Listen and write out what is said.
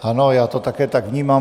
Ano, já to také tak vnímám.